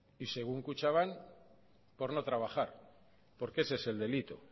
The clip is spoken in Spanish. y según kutxabank por no trabajar porque ese es el delito